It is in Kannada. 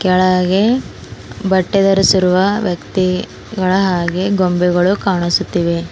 ಕೆಳಗೆ ಬಟ್ಟೆ ಧರಿಸಿರುವ ವ್ಯಕ್ತಿಗಳ ಹಾಗೆ ಗೊಂಬೆಗಳು ಕಾಣಿಸುತ್ತಿವೆ.